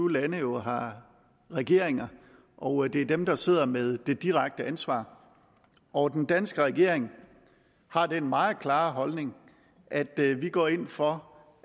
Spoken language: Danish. lande jo har regeringer og det er dem der sidder med det direkte ansvar og den danske regering har den meget klare holdning at vi går ind for